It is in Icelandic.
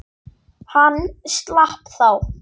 Hann slapp þá.